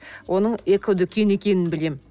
оның экодүкен екенін білемін